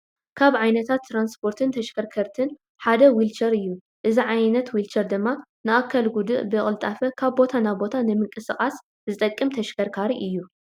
ካብ ዓይነታት ትራንስፖርትን ተሽከርከርትን ሓደ ዉልቸር እዩ፡፡ እዚ ዓይነት ዊልቸር ድማ ንኣካለ ጉድኣት ብቅልጣፈ ካብ ቦታ ናብ ቦታ ንምንቅስቃስ ዝጠቅም ተሽከርካሪ እዩ፡፡